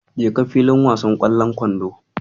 Jeka filin wasan ƙwallon kwandon.